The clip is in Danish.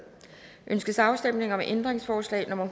ønskes afstemning om ændringsforslag nummer